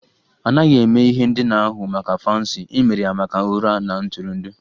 A naghị eme ihe ndina ahụ maka fancy, e mere ya maka ụra na ntụrụndụ